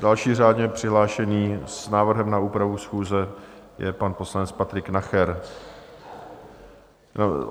Další řádně přihlášený s návrhem na úpravu schůze je pan poslanec Patrik Nacher.